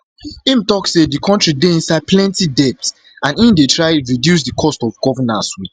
im tok say di kontri dey inside plenti debts and im dey try to reduce di cost of governance wit